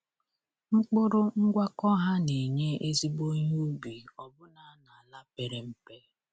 Mkpụrụ ngwakọ ha na-enye ezigbo ihe ubi ọbụna n’ala pere mpe.